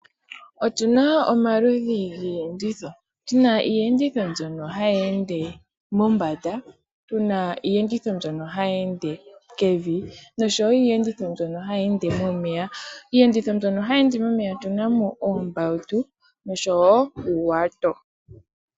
Otu na omaludhi giiyenditho, tu na iiyenditho mbyono hayi ende mombanda, tu na iiyendetho mbyono hayi ende kevi, nosho wo iiyendetho mbyono hayi ende momeya. Iiyenditho mbyono hayi ende momeya otu na mo oombawutu nosho wo uuwato.